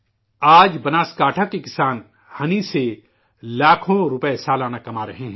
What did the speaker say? آج بناسکانٹھا کے کسان شہد سے لاکھوں روپئے سالانہ کما رہے ہیں